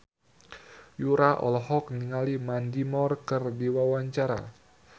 Yura olohok ningali Mandy Moore keur diwawancara